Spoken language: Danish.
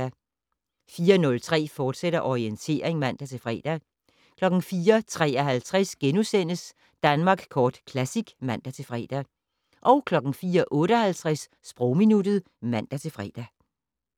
04:03: Orientering, fortsat (man-fre) 04:53: Danmark Kort Classic *(man-fre) 04:58: Sprogminuttet (man-fre)